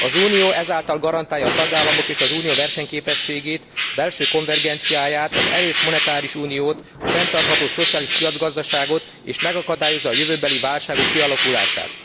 Az Unió ezáltal garantálja a tagállamok és az Unió versenyképességét, belső konvergenciáját, az erős monetáris uniót, a fenntartható szociális piacgazdaságot, és megakadályozza a jövőbeli válságok kialakulását.